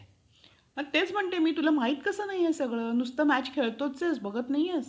मग तेच म्हणते मी तुला माहित कस नाही सगळं नुसतं match खेळतोय बघत नाहीयेस.